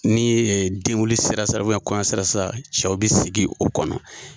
Ni ɛɛ denkundi sera sa, kɔɲɔn sera sa cɛw bɛ sigi o kɔnɔ.